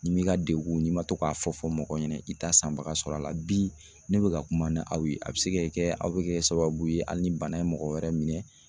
Ni m'i ka degun n'i ma to k'a fɔ fɔ mɔgɔ ɲɛnɛ i t'a sanbaga sɔrɔ a la bi ne bɛ ka kuma ni aw ye a bɛ se ka kɛ aw bɛ kɛ sababu ye hali ni banain ye mɔgɔ wɛrɛ minɛ